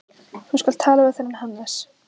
Þú skalt tala við þennan Hannes.